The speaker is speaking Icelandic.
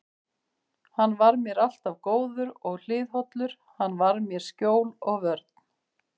Hann var mér alltaf góður og hliðhollur, hann var mér skjól og vörn.